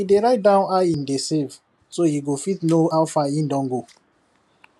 he dey write down how him dey save so he go fit know how far he don go